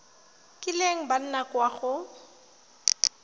kileng ba nna kwa go